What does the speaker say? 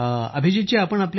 अभिजीत जीः हो सर